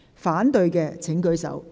反對的請舉手。